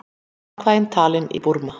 Atkvæði talin í Búrma